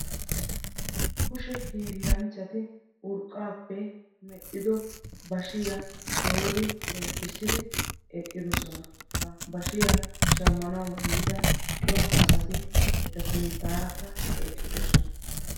kushee hiilanchchati urqqappe medhdhido bashshiya doori zemppissidi eqqidoosona. ha bashshiyaa shammanaw yiida cora asati eta sinttaarakka eqqidoosona.